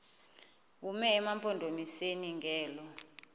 bume emampondomiseni ngelo